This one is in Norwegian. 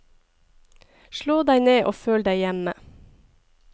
Slå deg ned og føl deg hjemme.